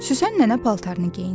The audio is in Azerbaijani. Süsən nənə paltarını geyindi.